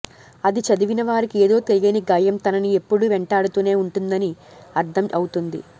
అది చదివినవారికి ఏదో తెలియని గాయం తనని ఎప్పుడూ వెంటాడుతూనే ఉంటుందని అర్ధం అవుతుంది